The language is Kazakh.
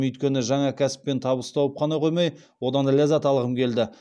өйткені жаңа кәсіппен табыс тауып қана қоймай одан ләззат алғым келді